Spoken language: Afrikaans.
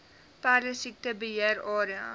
perdesiekte beheer area